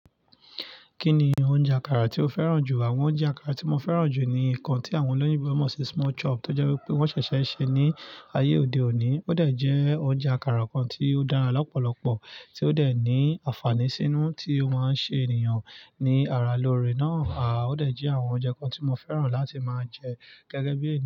Kí ni oúnjẹ àkàrà tí o fẹ́ràn jù? Àwọn oúnjẹ àkàrà tí mo fẹ́ràn jù ni nǹkan tí àwọn olóyinbo mọ̀ sí small chop tó jẹ́ wípé wọ́n ṣẹ̀ṣẹ̀ ṣe ní ayé òde òní. Ó de jẹ́ oúnjẹ àkàrà kan tí ó dára lọ́pọ̀lọpọ̀ tí ó de ní àǹfààní sínú tí ó máa ń ṣe ènìyàn ní ara lóore náà. À ó dà jẹ́ àwọn oúnjẹ kan tí mo fẹ́ràn láti máa jẹ gẹ́gẹ́ bí.